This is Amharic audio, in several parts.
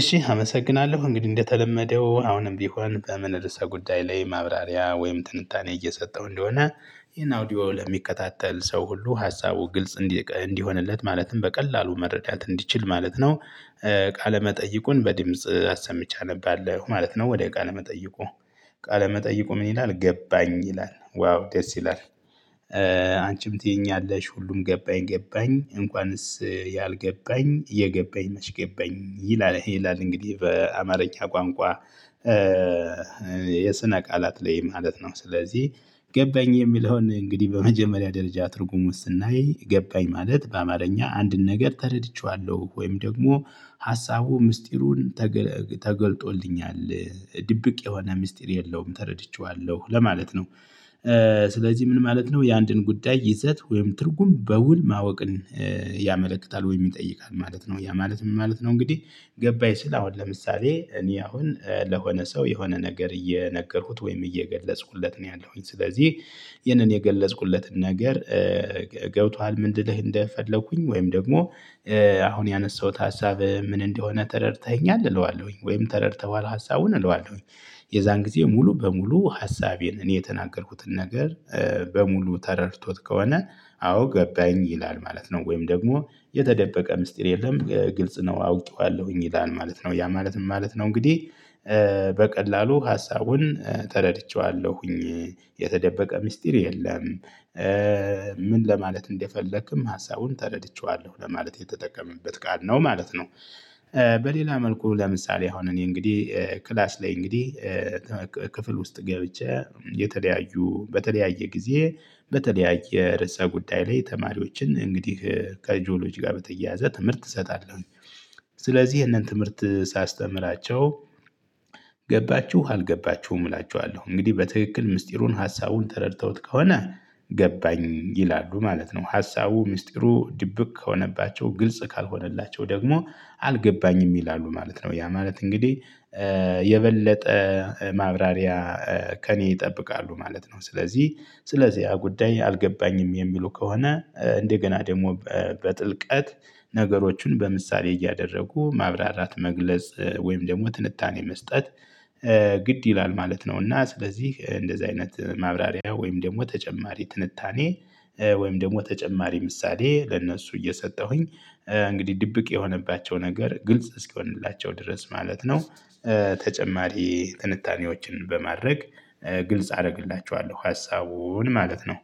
እሺ አመሰግናለሁ። እንግዲህ እንደተለመደው አሁንም ቢሆን በምን ርዕሰ ጉዳይ ላይ ማብራሪያ ወይም ትንታኔ እየሰጠው እንደሆነ ይሄን አውዲዮ ለሚከታተል ሰው ሁሉ ሀሳቡ ግልጽ እንዲሆንለት ማለትም በቀላሉ መረዳት እንዲችል ማለት ነው፤ ቃለመጠይቁን በድምጽ አሰምቼ አነባለሁ ማለት ነው ወደ ቃለመጠይቁ። ቃለመጠይቁ ምን ይላል "ገባኝ" ይላል። ዋው! ደስ ይላል። አንቺም ትይኛለሽ ሁሉም ገባኝ፣ ገባኝ እንኳንስ ያልገባኝ የገባኝ ነሽ ገባኝ ይላል ይላል እንግዲህ በአማርኛ ቋንቋ የስነ ቃላት ላይ ማለት ነው። ስለዚህ ገባኝ የሚለውን እንግዲህ በመጀመሪያ ደረጃ ትርጉሙን ስናይ ገባኝ ማለት በአማርኛ አንድን ነገር ተረድቼዋለሁ ወይም ደግሞ ሀሳቡ ምስጢሩን ተገልጦልኛል ድብቅ የሆነ ምስጢር የለውም ተረድቼዋለሁ ለማለት ነው። ስለዚህ ምን ማለት ነው የአንድን ጉዳይ ይዘት ወይም ትርጉም በውል ማወቅን ያመለክታል ወይ ይጠይቃል ማለት ነው። ያ ማለት ምን ማለት ነው እንግዲህ ገባኝ ስል አሁን ለምሳሌ እኔ አሁን ለሆነ ሰው የሆነ ነገር እየነገርኩት ወይም እየገለጽኩለት ነው ያለሁኝ ስለዚህ ይህንን የገለጽኩለትን ነገር ገብቶሃል ምንድን እንደልህ እንደፈለኩኝ? ወይም ደግሞ አሁን ያነሳሁት ሀሳብ ምን እንደሆነ ተረድተኸኛል እለዋለሁኝ ወይም ተረድተኸዋል ሀሳቡን እለዋለሁኝ፤ የዛን ጊዜ ሙሉ በሙሉ ሀሳቤን እኔ የተናገርኩትን ነገር በሙሉ ተረድቶት ከሆነ አዎ ገባኝ ይላል ማለት ነው። ወይም ደግሞ የተደበቀ ምስጢር የለም ግልጽ ነው አውቀዋለሁኝ ይላል ማለት ነው። ያ ማለት ምን ማለት ነው እንግዲህ በቀላሉ ሀሳቡን ተረድቼዋለሁኝ፣ የተደበቀ ሚስጥር የለም። ምን ለማለት እንደፈለክም ሀሳቡን ተረድቼዋለሁ ለማለት የተጠቀመበት ቃል ነው ማለት ነው። በሌላ መልኩ ለምሳሌ አሁን እኔ እንግዲህ ክላስ ላይ እንግዲህ ክፍል ውስጥ ገብቼ የተለያዩ፣ በተለያየ ጊዜ በተለያየ ርዕሰ ጉዳይ ላይ ተማሪዎችን እንግዲህ ከጂኦሎጂ ጋር በተያያዘ ትምህርት እሰጣለሁ። ስለዚህ ይሄንን ትምህርት ሳስተምራቸው ገባችሁ አልገባችሁም እላችኋለሁ። እንግዲህ በትክክል ምስጢሩን ሀሳቡን ተረድተውት ከሆነ ገባኝ ይላሉ ማለት ነው። ሀሳቡ ሚስጥሩ ድብቅ ከሆነባቸው ግልጽ ካልሆነላቸው ደግሞ አልገባኝም ይላሉ ማለት ነው። ያ ማለት እንግዲህ የበለጠ ማብራሪያ ከእኔ ይጠብቃሉ ማለት ነው። ስለዚህ፣ ስለዚህ ያ ጉዳይ አልገባኝም የሚሉ ከሆነ እንደገና ደግሞ በጥልቀት ነገሮቹን በምሳሌ እያደረጉ ማብራራት መግለጽ ወይም ደግሞ ትንታኔ መስጠት ግድ ይላል ማለት ነው እና ስለዚህ እንደዚህ አይነት ማብራሪያ ወይም ደግሞ ተጨማሪ ትንታኔ ወይም ደግሞ ተጨማሪ ምሳሌ ለእነሱ እየሰጠሁኝ እንግዲህ ድብቅ የሆነባቸው ነገር ግልጽ እስክሆንላቸው ድረስ ማለት ነው ተጨማሪ ትንታኔዎችን በማድረግ ግልጽ አደርግላችኋለሁ ሀሳቡን ማለት ነው።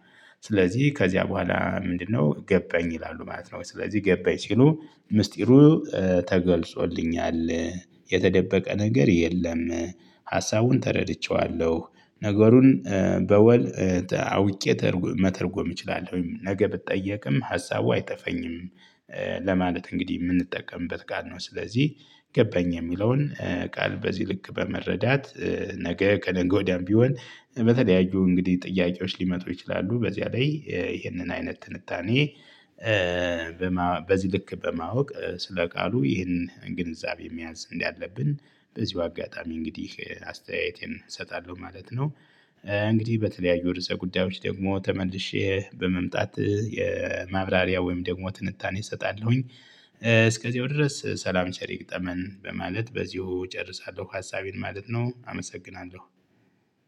ስለዚህ ከዚያ በኋላ ምንድነው? ገባኝ ይላሉ ማለት ነው ስለዚህ ገባኝ ሲሉ ምስጢሩ ተገልጾልኛል፣ የተደበቀ ነገር የለም፤ ሀሳቡን ተረድቼዋለሁ፣ ነገሩን በወል አውቄ መተርጎም እችላለሁኝ፤ ነገ ብትጠየቅም ሀሳቡ አይጠፈኝም፤ ለማለት እንግዲህ የምንጠቀምበት ቃል ነው። ስለዚህ ገባኝ የሚለውን ቃል በዚህ ልክ በመረዳት ነገ ከነገ ወዲያም ቢሆን በተለያዩ እንግዲህ ጥያቄዎች ሊመጡ ይችላሉ፣ በዚያ ላይ ይህንን አይነት ትንታኔ በዚህ ልክ በማወቅ ስለ ቃሉ ይህንን ግንዛቤ መያዝ እንዳለብን በዚሁ አጋጣሚ እንግዲህ አስተያየቴን እሰጣለሁ ማለት ነው። እንግዲህ በተለያዩ ርዕሰ ጉዳዮች ደግሞ ተመልሼ በመምጣት የማብራሪያ ወይም ደግሞ ትንታኔ እሰጣለሁኝ። እስከዚያው ድረስ ሰላም ቸር ይግጠመን በማለት በዚሁ እጨርሳለሁ ሀሳቤን ማለት ነው፤ አመሰግናለሁ።